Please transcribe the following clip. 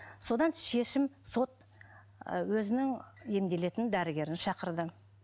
содан шешім сот і өзінің емделетін дәрігерін шақырды